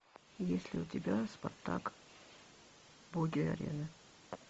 есть ли у тебя спартак боги арены